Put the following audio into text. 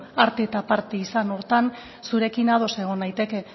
parte eta parte izan horretan zurekin ados naiteke